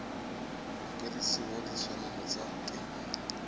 mokwadise wa ditshwanelo tsa temo